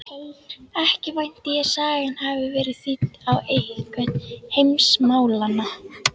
Ekki vænti ég sagan hafi verið þýdd á eitthvert heimsmálanna?